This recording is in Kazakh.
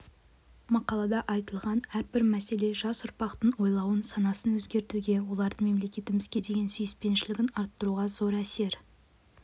мақалада айтылған әрбір мәселе жас ұрпақтың ойлауын санасын өзгертуге олардың мемлекетімізге деген сүйіспеншілігін арттыруға зор әсер